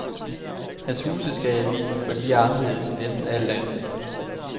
Hans huse skal i avisen, for de er anderledes end næsten alt andet.